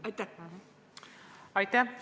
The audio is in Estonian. Aitäh!